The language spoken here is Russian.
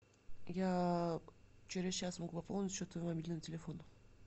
я через час могу пополнить счет твоего мобильного телефона